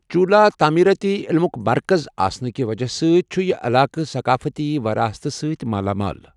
چولا تعمیٖرٲتی عٔلِمُک مرکَز آسنہٕ کہِ وجہہ سۭتۍ چھُ یہِ علاقہٕ ثَقافتی وَراثَتہِ سۭتۍ مالا مال۔